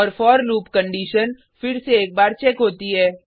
और for loop condition फिर से एक बार चेक होती है